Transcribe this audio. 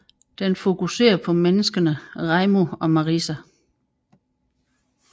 Den fokusere på menneskerne Reimu og Marisa